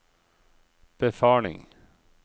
befaling